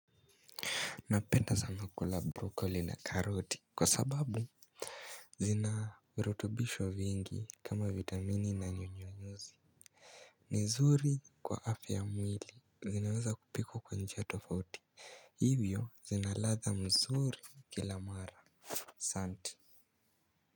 Napenda sana kula brocoli na karoti kwa sababu zina urutubisho vyingi kama vitamini na nyonyonyuzi. Nizuri kwa afya ya mwili zinaweza kupikwa kwa njia tofauti. Hivyo zinaladha mzuri kila mara. Santi.